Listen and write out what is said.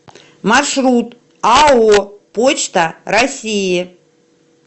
маршрут ао почта россии